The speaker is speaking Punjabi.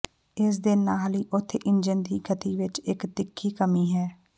ਇਸ ਦੇ ਨਾਲ ਹੀ ਉਥੇ ਇੰਜਣ ਦੀ ਗਤੀ ਵਿੱਚ ਇੱਕ ਤਿੱਖੀ ਕਮੀ ਹੈ